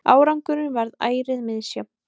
Árangurinn varð ærið misjafn.